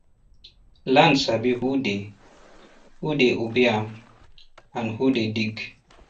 land sabi who dey who dey obey am and who dey dig